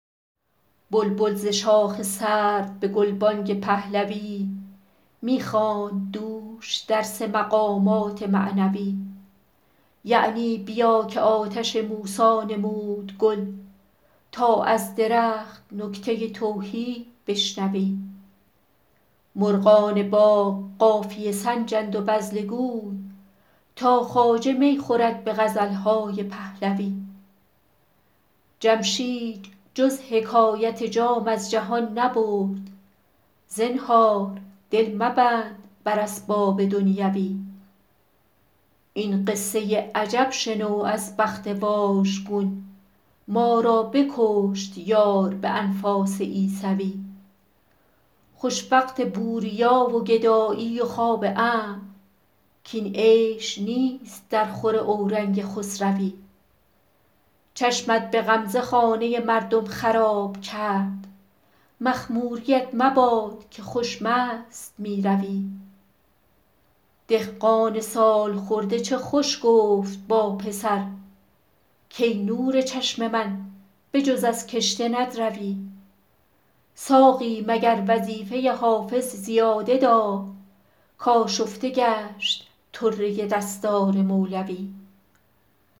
بلبل ز شاخ سرو به گلبانگ پهلوی می خواند دوش درس مقامات معنوی یعنی بیا که آتش موسی نمود گل تا از درخت نکته توحید بشنوی مرغان باغ قافیه سنجند و بذله گوی تا خواجه می خورد به غزل های پهلوی جمشید جز حکایت جام از جهان نبرد زنهار دل مبند بر اسباب دنیوی این قصه عجب شنو از بخت واژگون ما را بکشت یار به انفاس عیسوی خوش وقت بوریا و گدایی و خواب امن کاین عیش نیست درخور اورنگ خسروی چشمت به غمزه خانه مردم خراب کرد مخموریـت مباد که خوش مست می روی دهقان سال خورده چه خوش گفت با پسر کای نور چشم من به جز از کشته ندروی ساقی مگر وظیفه حافظ زیاده داد کآشفته گشت طره دستار مولوی